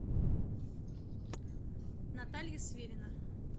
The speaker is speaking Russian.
наталья свирина